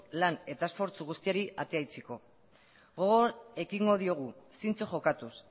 lan eta esfortzu guztiari atea itxiko gogor ekingo diogu zintzo jokatuz